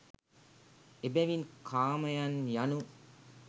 එබැවින් කාමයන් යනු